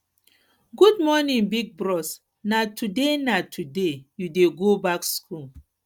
good morning big bros na today na today you dey go back skool